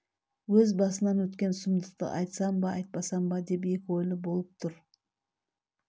өз басынан өткен сұмдықты айтсам ба айтпасам ба деп екі ойлы болып тұр